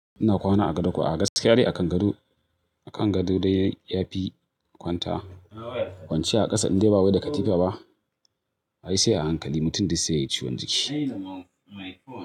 Ina kwana a gado kuwa a gaskiya ne akan gado, akan gado dai ya fi kwanta kwanciya a ƙasa inda bawai da katifa ba. Ai sai a hankali mutum duk sai yayi ciwon jiki.